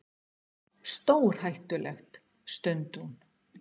Stórhættulegt. stundi hún.